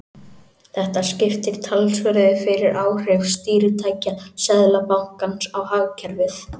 Þetta skiptir talsverðu fyrir áhrif stýritækja Seðlabankans á hagkerfið.